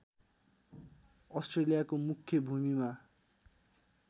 अस्ट्रेलियाको मुख्य भूमिमा